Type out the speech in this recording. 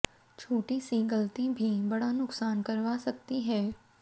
छोटी सी गलती भी बड़ा नुकसान करवा सकती है